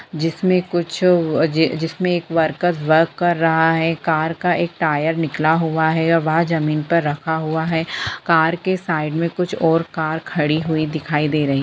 जिसमे कुछ अ अज जिसमे एक वर्कर वर्क कर रहा है कार का एक टायर निकला हुआ है और वह जमीन पर रखा हुआ है कार के साइड मे कुछ और कार खड़ी हुई दिखाई दे रही है।